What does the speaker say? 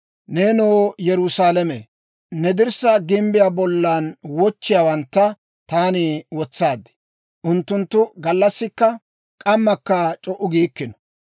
Neenoo Yerusaalame, ne dirssaa gimbbiyaa bollan wochchiyaawantta taani wotsaad; unttunttu gallassikka k'ammakka c'o"u giikkino.